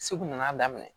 Segu nana daminɛ